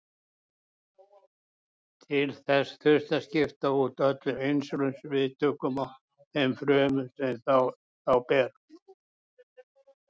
Til þess þyrfti að skipta út öllum insúlín-viðtökum á þeim frumum sem þá bera.